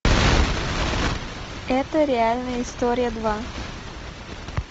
это реальная история два